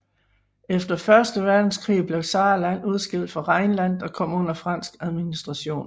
Efter første verdenskrig blev Saarland udskilt fra Rheinland og kom under fransk administration